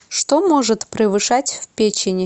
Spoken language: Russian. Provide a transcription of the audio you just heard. что может превышать в печени